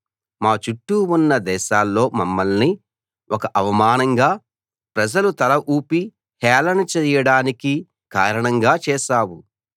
మా చుట్టూ ఉన్న దేశాల్లో మమ్మల్ని ఒక అవమానంగా ప్రజలు తల ఊపి హేళన చేయడానికి కారణంగా చేశావు